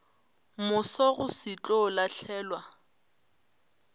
moso go se tlo lahlelwa